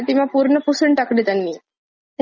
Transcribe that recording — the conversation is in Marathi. तिची आई अच्छा खूप चांगली असते.